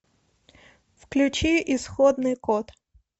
включи исходный код